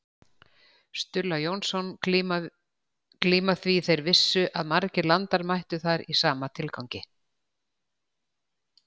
Stulla Jónsson glíma því þeir vissu að margir landar mættu þar í sama tilgangi.